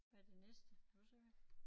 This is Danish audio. Hvad det næste kan du se det